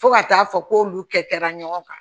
Fo ka taa fɔ k'olu kɛ kɛra ɲɔgɔn kan